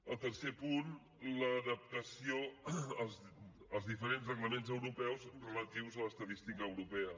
el tercer punt l’adaptació als diferents reglaments europeus relatius a l’estadística europea